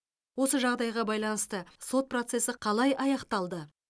осы жағдайға байланысты сот процесі қалай аяқталды